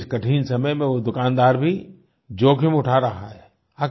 आज के इस कठिन समय में वो दुकानदार भी जोख़िम उठा रहा है